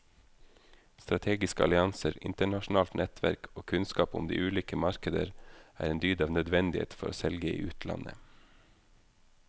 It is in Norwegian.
Strategiske allianser, internasjonalt nettverk og kunnskap om de ulike markeder er en dyd av nødvendighet for å selge i utlandet.